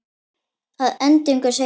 Að endingu segir hún